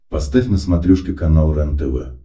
поставь на смотрешке канал рентв